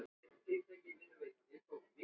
En hún hefur nóg.